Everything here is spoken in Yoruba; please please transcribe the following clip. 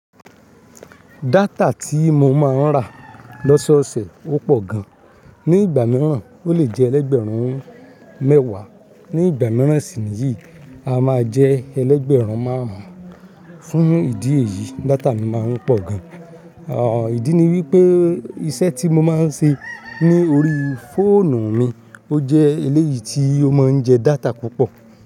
Data tí mo máa ń rà lóṣooṣè ó pọ̀ gan. Ni ìgbà mìíràn o le jẹ́ ẹlẹ́gbẹ̀rún mẹ́wàá, ní ìgbà mìíràn sì níyìí a máa jẹ́ ẹlẹ́gbẹ̀rún márùn-ún. Fún ìdí èyí, data mi máa ń pọ̀ gan. Òn ìdí ni wípé iṣẹ́ tí mo máa ń ṣe ní orí fóònù mi ó jẹ́ eléyìí tí ó máa ń jẹ data púpọ̀